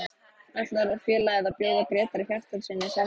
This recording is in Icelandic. Ætlar félagið að bjóða Grétari Hjartarsyni samning?